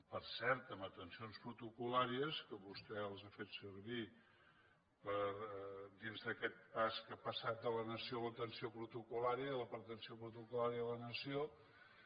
per cert en atencions protocol·làries que vostè les ha fet servir dins d’aquest pas que ha passat de la nació a l’atenció protocol·lària i de l’atenció protocol·lària a la nació